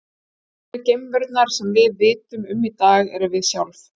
Einu geimverurnar sem við vitum um í dag erum við sjálf.